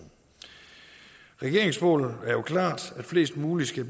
regeringens mål er jo klart at flest mulige skal